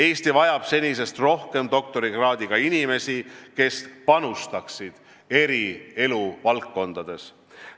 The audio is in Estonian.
Eesti vajab senisest rohkem doktorikraadiga inimesi, kes panustaksid eri eluvaldkondades.